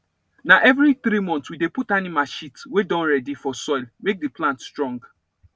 na every three month we dey put animal shit wey don ready for soil make the plant strong